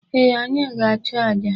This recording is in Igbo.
Ee, anyị ga-achụ aja.